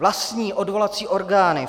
Vlastní odvolací orgány